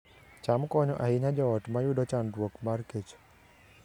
cham konyo ahinya joot mayudo chandruok mar kech